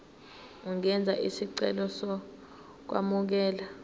ungenza isicelo sokwamukelwa